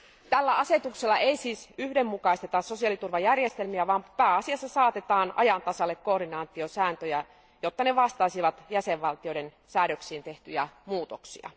Tällä asetuksella ei siis yhdenmukaisteta sosiaaliturvajärjestelmiä, vaan pääasiassa saatetaan ajan tasalle koordinaatiosääntöjä, jotta ne vastaisivat jäsenvaltioiden säädöksiin tehtyjä muutoksia.